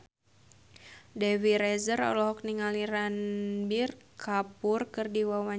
Dewi Rezer olohok ningali Ranbir Kapoor keur diwawancara